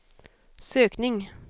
sökning